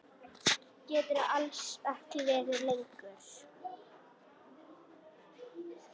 Geturðu alls ekki verið lengur?